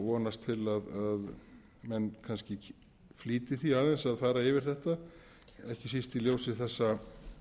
vonast til að menn kannski flýti því aðeins að fara yfir þetta ekki